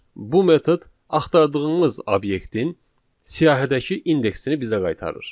Bu metod axtardığımız obyektin siyahıdakı indeksini bizə qaytarır.